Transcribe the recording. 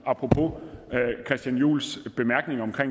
apropos christian juhls bemærkning om